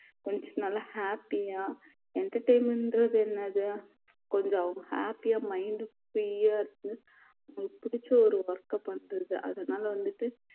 கொஞ்சம் நல்லா happy ஆ entertainment ன்றது என்னது கொஞ்சம் happy ஆ mind free யா இருக்க புடிச்ச ஒரு work பண்றது அதனால வந்துட்டு